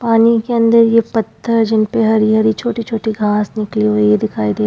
पानी के अंदर ये पत्थर जिनपे हरी हरी छोटी छोटी घास निकली हुई दिखाई दे --